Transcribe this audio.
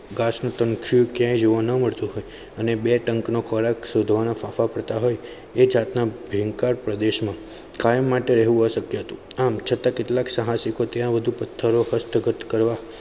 ગાશ નું તણખું ક્યાય જોવા ન મળતું હતું અને બે ટંકનો ખોરાક શોધવા ફાફા પડતા હોય એ જાતના ભયંકર પ્રદેશમાં કાયમ માટે રહેવુંઅશ્ય્ક્યા હતું આમ છતા કેટલાક સાહસિકો ત્યાં વધુ પથ્થરો અસ્ત્ગત કરવા.